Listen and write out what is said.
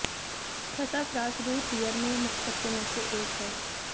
sassafras root beer में मुख्य तत्वों में से एक है